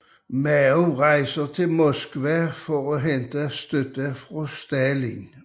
Mao rejser til Moskva for at hente støtte fra Stalin